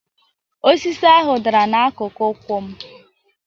Osisi ahụ dara n'akụkụ ụkwụ m